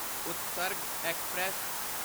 Utsarg express